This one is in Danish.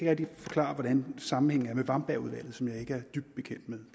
rigtig forklare hvordan sammenhængen er med wambergudvalget som jeg ikke er dybt bekendt med